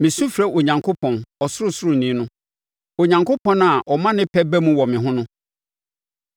Mesu frɛ Onyankopɔn, Ɔsorosoroni no; Onyankopɔn a ɔma ne pɛ ba mu wɔ me ho.